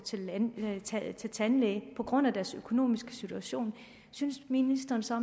til tandlæge på grund af deres økonomiske situation synes ministeren så